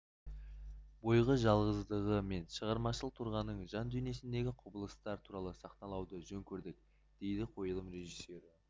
бойғы жалғыздығы мен шығармашыл тұрғаның жан дүниесіндегі құбылыстар туралы сахналауды жөн көрдік дейді қойылым режиссері